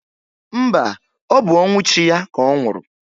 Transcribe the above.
Mba, ọ bụ ọnwụ chi ya ka ọ nwụrụ